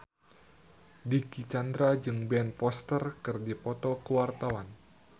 Dicky Chandra jeung Ben Foster keur dipoto ku wartawan